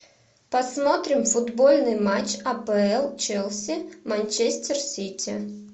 посмотрим футбольный матч апл челси манчестер сити